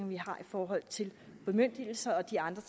vi har i forhold til bemyndigelser og de andre